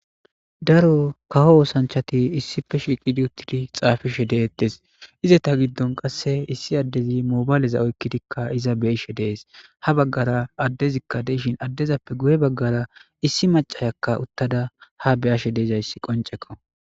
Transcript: Daro kaho oosanchati issife shiiqidi uttidi xaafishe deettes iza ta giddon qasse issi addezi mobayleza oykkidikka iza beishe dees ha baggara addezikka deishin addezappe guye baggara issi macayakka uttada ha beyashe deezayssi qonceko.